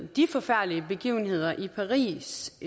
de forfærdelige begivenheder i paris